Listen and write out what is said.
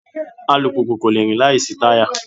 Alùpùpù kò le rìn láìsí táyà